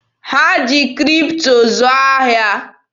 Ha ji Kripto zụọ ahịa.